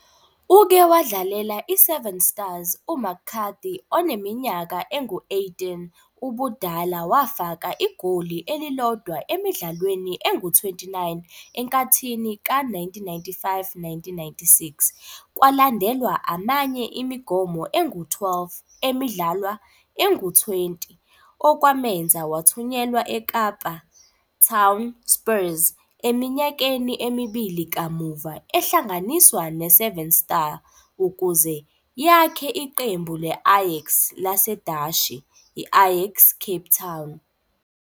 Uke wadlalela i-Seven Stars, u-McCarthy oneminyaka engu-18 ubudala wafaka igoli elilodwa emidlalweni engu-29 enkathini ka-1995-96, kwalandelwa amanye imigomo engu-12 emidlalwa engu-20, okwamenza wathunyelwa eKapa Town Spurs, eminyakeni emibili kamuva ehlanganiswa ne-Seven Star ukuze yakhe iqembu le-Ajax laseDashi, I-Ajax Cape Town.